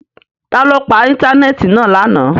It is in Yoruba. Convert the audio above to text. Ta lo pa íńtánẹ́ẹ̀tì náa lana?